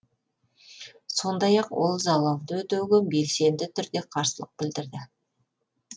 сондай ақ ол залалды өтеуге белсенді түрде қарсылық білдірді